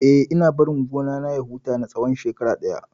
Eh, ina barin gona na ya huta na tsawon shekara ɗaya.